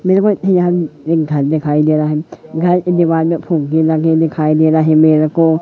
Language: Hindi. मेरे को यह एक घर दिखाई दे रहा है घर के दीवार में फुग्गे लगे दिखाई दे रहा है मेरे को--